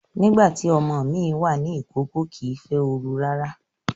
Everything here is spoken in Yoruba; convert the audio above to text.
Nígbà tí ọmọ mi wà ní ìkókó, kìí fẹ́ ooru rárá